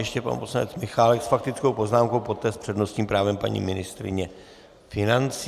Ještě pan poslanec Michálek s faktickou poznámkou, poté s přednostním právem paní ministryně financí.